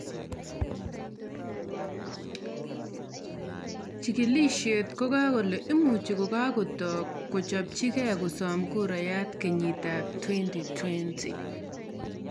Chechigilisie kokale imuch kakotoo kuchopchige kosom kurayat kenyit ab 2020.